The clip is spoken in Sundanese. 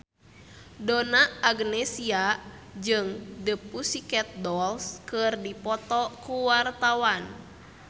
Donna Agnesia jeung The Pussycat Dolls keur dipoto ku wartawan